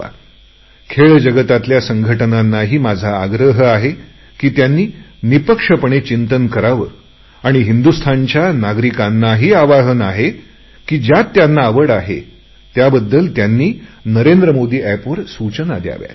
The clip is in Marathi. माझा खेळ जगतातल्या संघटनांनाही आग्रह आहे की त्यांयनीही निपक्षपणाने चिंतन करावे आणि हिंदुस्तानच्या नागरिकांनाही आवाहन आहे ज्यांना त्यात आवड आहे त्यांनी नरेंद्र मोदी एपवर सूचना द्याव्यात